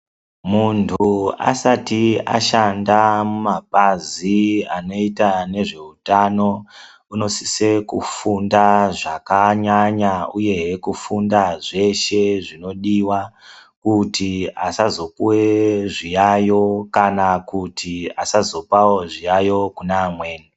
Muntu asati ashanda mumapazi anoita nezveutano unosise kufunda zvakanyanya uyehe kufunda zveshe zvinodiwa kuti asazopuwe zviyayo kana kuti asozopawo zviyayo kune amweni.